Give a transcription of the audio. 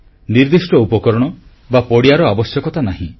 ନିର୍ଦ୍ଦିଷ୍ଟ ଉପକରଣ ବା ପଡ଼ିଆର ଆବଶ୍ୟକତା ନାହିଁ